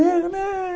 E ele?